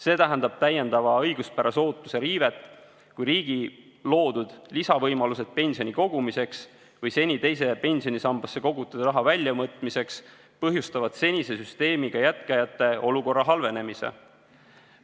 See tähendab täiendavat õiguspärase ootuse riivet, kui riigi loodud lisavõimalused pensioni kogumiseks või seni teise pensionisambasse kogutud raha väljavõtmiseks põhjustavad senise süsteemiga jätkajate olukorra halvenemise.